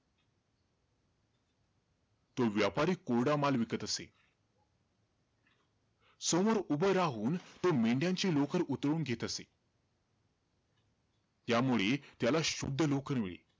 तो व्यापारी कोरडा माल विकत असे. समोर उभे राहून तो मेंढ्यांची लोकर उतरवून घेत असे. त्यामुळे, त्याला शुद्ध लोकर मिळे.